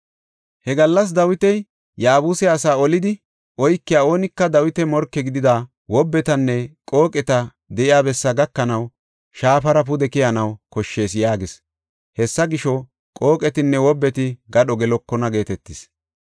He gallas Dawiti, “Yaabuse asaa olidi oykiya oonika Dawita morke gidida wobbetinne qooqeti de7iya bessaa gakanaw shaafara pude keyanaw koshshees” yaagis. Hessa gisho, “Qooqetinne wobbeti gadho gelokona” geetetis.